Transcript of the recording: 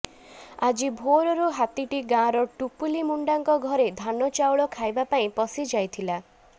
ଆଜି ଭୋରରୁ ହାତୀଟି ଗାଁର ଟୁପୁଲି ମୁଣ୍ଡାଙ୍କ ଘରେ ଧାନ ଚାଉଳ ଖାଇବା ପାଇଁ ପଶିଯାଇଥିଲା